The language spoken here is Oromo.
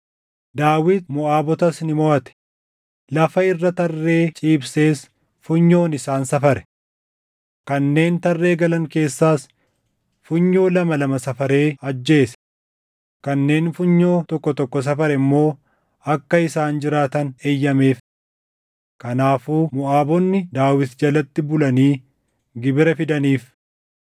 Daawit Moʼaabotas ni moʼate. Lafa irra tarree ciibsees funyoon isaan safare. Kanneen tarree galan keessaas funyoo lama lama safaree ajjeese; kanneen funyoo tokko tokko safare immoo akka isaan jiraatan eeyyameef. Kanaafuu Moʼaabonni Daawit jalatti bulanii gibira fidaniif.